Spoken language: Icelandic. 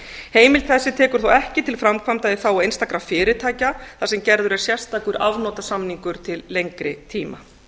heimild þessi tekur ekki til framkvæmda í þágu einstakra fyrirtækja þar sem gerður er sérstakur afnotasamningur til lengri tíma